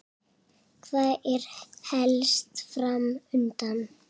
Hvað er helst fram undan?